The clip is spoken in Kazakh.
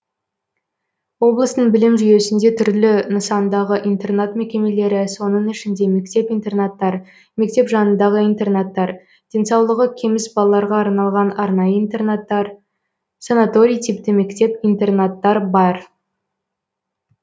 облыстың білім жүйесінде түрлі нысандағы интернат мекемелері соның ішінде мектеп интернаттар мектеп жанындағы интернаттар денсаулығы кеміс балаларға арналған арнайы интернаттар санаторий типті мектеп интернаттар бар